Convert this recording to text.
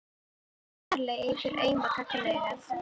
Strýkur fingri varlega yfir auma gagnaugað.